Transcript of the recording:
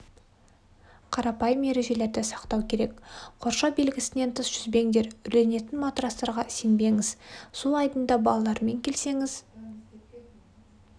қарапайым ережелерді сақтау керек қоршау белгісінен тыс жүзбеңдер үрленетін матрастарға сенбеңіз су айдынана балалармен келсеңіз